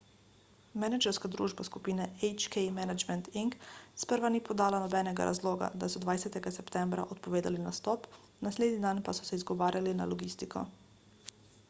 menedžerska družba skupine hk management inc sprva ni podala nobenega razloga ko so 20 septembra odpovedali nastop naslednji dan pa so se izgovarjali na logistiko